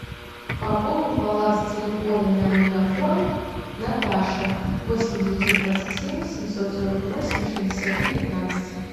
пополни баланс телефона на мегафон наташа восемь девятьсот двадцать семь семьсот сорок восемь шестьдесят три пятнадцать